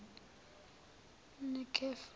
nekhefu